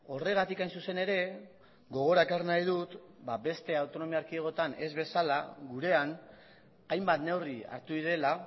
horregatik hain zuzen ere gogora ekarri nahi dut beste autonomia erkidegoetan ez bezala gurean hainbat neurri hartu direla